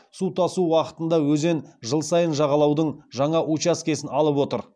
су тасу уақытында өзен жыл сайын жағалаудың жаңа учаскесін алып отыр